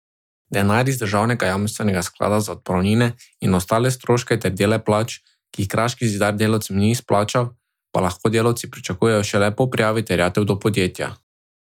Denar iz državnega jamstvenega sklada za odpravnine in ostale stroške ter dele plač, ki jih Kraški zidar delavcem ni izplačal, pa lahko delavci pričakujejo šele po prijavi terjatev do podjetja.